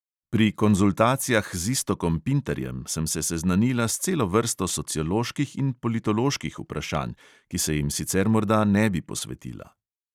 Pri konzultacijah z iztokom pintarjem sem se seznanila s celo vrsto socioloških in politoloških vprašanj, ki se jim sicer morda ne bi posvetila.